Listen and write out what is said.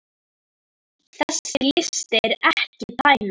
Þessi listi er ekki tæmandi